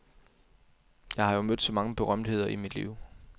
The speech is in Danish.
Jeg har jo mødt så mange berømtheder i mit liv.